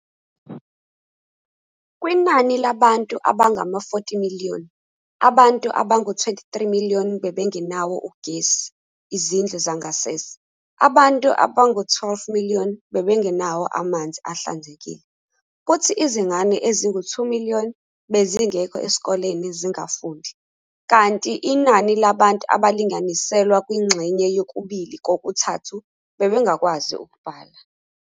Kwinani labantu abangama 40miliyoni, abantu abangu 23miliyoni bebengenawo ugesi, izindlu zangasese, abantu abangu 12 miliyoni bebengenawo amanzi ahlanzekile, kuthi izingane ezingu 2miliyoni bezingekho esikoleni zingafundi, kanti inani labantu abalinganiselwa kwingxenye yokubili-kokuthathu, bebengakwazi ukubhala.